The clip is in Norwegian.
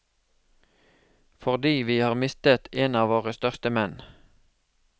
Fordi vi har mistet en av våre største menn.